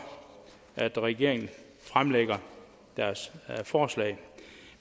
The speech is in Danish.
regeringen fremsætter sit forslag